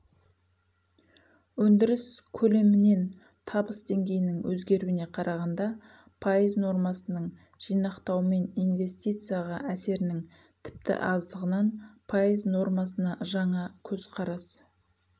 өндіріс көлемімен табыс деңгейінің өзгеруіне қарағанда пайыз нормасының жинақтаумен инвестицияға әсерінің тіпті аздығынан пайыз нормасына жаңа көзқарас